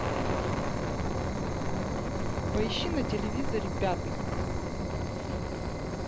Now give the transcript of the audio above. поищи на телевизоре пятый